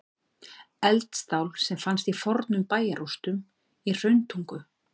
Eldstál sem fannst í fornum bæjarrústum í Hrauntungu.